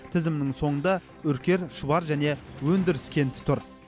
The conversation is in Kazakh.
тізімнің соңында үркер шұбар және өндіріс кенті тұр